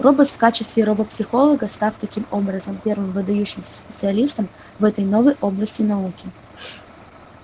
роботс в качестве робопсихолога став таким образом первым выдающимся специалистом в этой новой области науки